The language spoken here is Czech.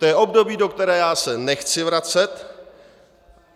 To je období, do kterého já se nechci vracet.